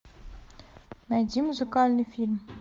найди музыкальный фильм